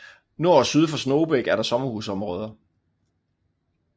Nord og syd for Snogebæk er der sommerhusområder